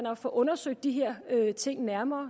at få undersøgt de her ting nærmere